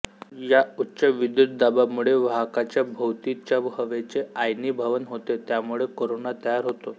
या उच्य विद्युतदाबामुळे वाहकाच्या भोवतीच्या हवेचे आयनीभवन होते त्यामुळे कोरोना तयार होतो